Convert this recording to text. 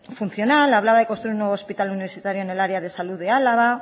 funcional hablaba de construir un nuevo hospital universitario en el área de salud de álava